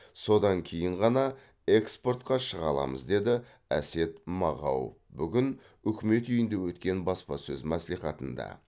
содан кейін ғана экспортқа шыға аламыз деді әсет мағауов бүгін үкімет үйінде өткен баспасөз мәслихатында